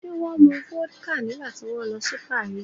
Ṣé wọ́n mu vodka nígbà tí wọ́n lọ sí Paris?